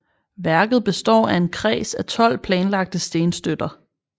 Værket består af en kreds af 12 planlagte stenstøtter